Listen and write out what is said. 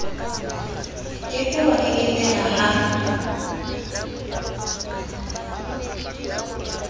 ke ke wa keketeha ha